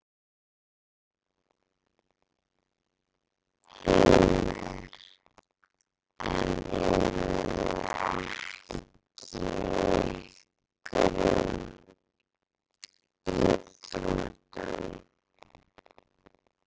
Heimir: En eruð þið ekki í einhverjum íþróttum?